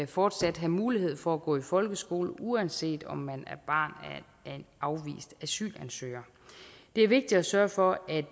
fortsat have mulighed for at gå i folkeskole uanset om man er barn af en afvist asylansøger det er vigtigt at sørge for at